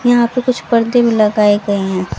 यहां पे कुछ पर्दे भी लगाए गए हैं।